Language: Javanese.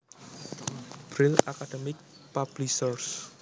Brill Academic Publishers